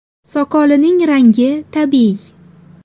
Soqolining rangi tabiiy.